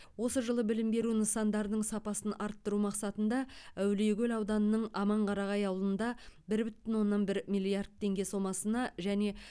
осы жылы білім беру нысандардың сапасын арттыру мақсатында әулиекөл ауданының аманқарағай ауылында бір бүтін оннан бір миллиард теңге сомасына және